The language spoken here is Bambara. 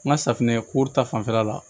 N ka safinɛ ko ta fanfɛla la